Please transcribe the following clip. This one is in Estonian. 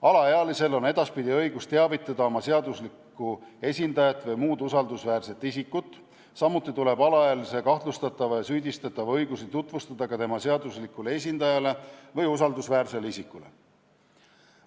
Alaealisel on edaspidi õigus teavitada oma seaduslikku esindajat või muud usaldusväärset isikut, samuti tuleb alaealise kahtlustatava ja süüdistatava õigusi tutvustada tema seaduslikule esindajale või usaldusväärsele isikule.